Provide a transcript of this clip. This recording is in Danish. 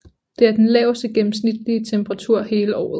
Det er den laveste gennemsnitlige temperatur hele året